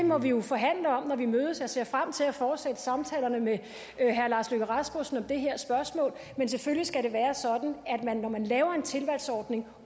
må vi jo forhandle om når vi mødes og jeg ser frem til at fortsætte samtalerne med herre lars løkke rasmussen om det her spørgsmål men selvfølgelig skal det være sådan at man når man laver en tilvalgsordning